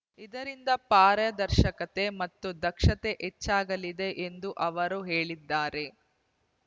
ಇದರಿಂದ ಪಾರದರ್ಶಕತೆ ಮತ್ತು ದಕ್ಷತೆ ಹೆಚ್ಚಾಗಲಿದೆ ಎಂದು ಅವರು ಹೇಳಿದ್ದಾರೆ